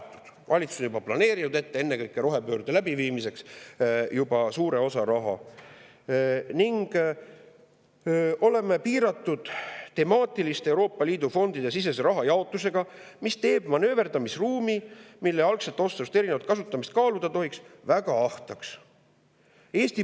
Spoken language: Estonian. Valitsus on suure osa sellest rahast juba planeerinud ennekõike rohepöörde läbiviimiseks ning me oleme piiratud temaatiliste Euroopa Liidu fondide sisese rahajaotusega, mis teeb manööverdamisruumi, et algsest otsusest erinevat kasutamist kaaluda tohiks, väga ahtaks.